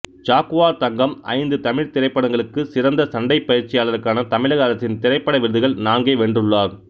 Jaguar Thangam ஐந்து தமிழ் திரைப்படங்களுக்கு சிறந்த சண்டைப் பயிற்சியாளருக்கான தமிழக அரசின் திரைப்பட விருதுகள் நான்கை வென்றுள்ளார்